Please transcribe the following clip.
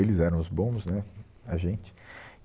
Eles eram os bons, né, a gente.